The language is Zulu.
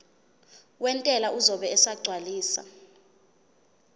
wentela uzobe esegcwalisa